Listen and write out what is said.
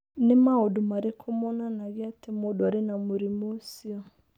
Nĩ maũndũ marĩkũ monanagia atĩ mũndũ arĩ na mũrimũ ũcio?